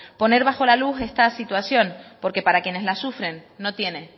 poner bajo la luz esta situación porque para quienes la sufren no tiene